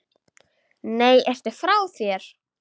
Nei, ertu frá þér!